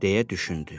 deyə düşündü.